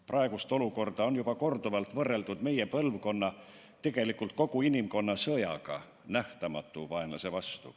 Praegust olukorda on juba korduvalt võrreldud meie põlvkonna, tegelikult kogu inimkonna sõjaga nähtamatu vaenlase vastu.